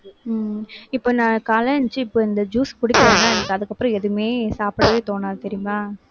உம் இப்ப நான் காலையில எந்திரிச்சு இப்ப இந்த juice குடிக்கிறேன்னா எனக்கு அதுக்கப்புறம் எதுவுமே சாப்பிடவே தோணாது தெரியுமா